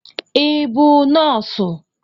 Ị bụ nọọsụ?